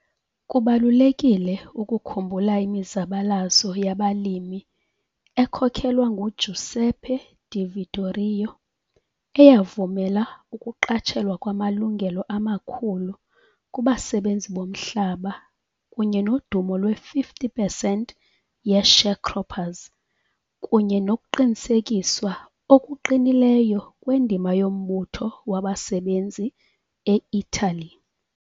Kubalulekile ukukhumbula imizabalazo yabalimi ekhokelwa nguGiuseppe Di Vittorio, eyavumela ukuqatshelwa kwamalungelo amakhulu kubasebenzi bomhlaba kunye nodumo lwe-50 pesenti ye-sharecroppers, kunye nokuqinisekiswa okuqinileyo kwendima yombutho wabasebenzi e-Italy.